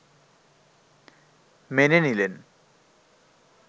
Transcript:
মেনে নিলেন